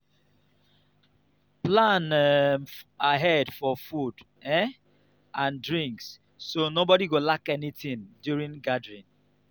plan um ahead for food um and drinks so nobody go lack anything during gathering.